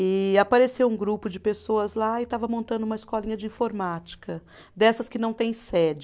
E apareceu um grupo de pessoas lá e estava montando uma escolinha de informática, dessas que não têm sede.